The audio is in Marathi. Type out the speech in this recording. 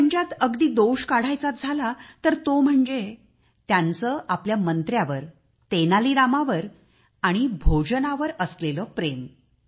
त्यांच्यात अगदी दोष काढायचाच झाला तर तो म्हणजे त्यांचे आपल्या मंत्र्यावर तेनालीरामावर असलेले प्रेम आणि भोजनावर असलेले प्रेम